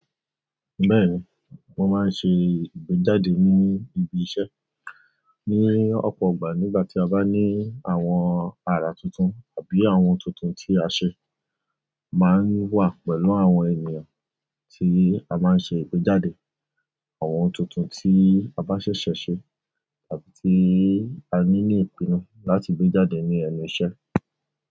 Bẹ́ẹ̀ni, mo máa ń ṣe ìgbéjáde ní ibi iṣẹ́ ní ọ̀pọ̀ ìgbà nígbà tí a bá ní àwọn àrà tuntun àbí àwọn ohun tuntun tí a ṣe. Máa ń wà pẹ̀lú àwọn ènìyàn tí a máa ń ṣe ìgbéjáde àwọn tuntun tí a bá ṣẹ̀ṣẹ̀ ṣe àbí tí a ní ní ìpinnu láti gbé jáde ní ẹnù iṣẹ́.